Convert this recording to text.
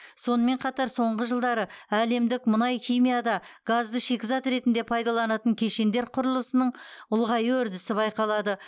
сонымен қатар соңғы жылдары әлемдік мұнай химияда газды шикізат ретінде пайдаланатын кешендер құрылысының ұлғаю үрдісі байқалады